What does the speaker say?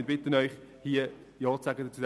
Ich bitte Sie, zu diesem Antrag Ja zu sagen.